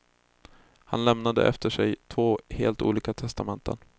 Han lämnade efter sig två helt olika testamenten.